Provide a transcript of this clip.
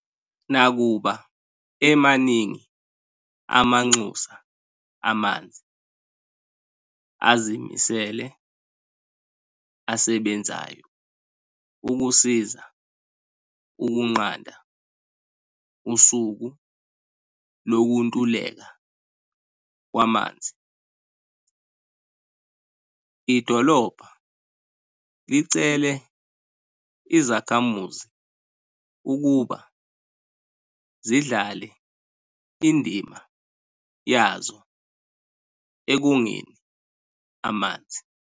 Nakuba emaningi amanxusa amanzi azimisele asebenzayo ukusiza ukunqanda usuku lokuntuleka kwamanzi, idolobha licele izakhamuzi ukuba zidlale indima yazo ekongeni amanzi.